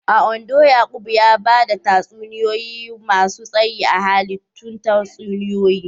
A Ondo, Yaqub ya ba da tatsuniyoyi masu tsayi na hallitun tatsuniyoyi